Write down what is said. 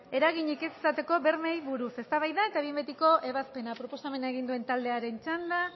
eraginik ez izateko bermeei buruz eztabaida eta behin betiko ebazpena proposamena egin duen taldearen txanda